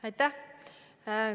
Aitäh!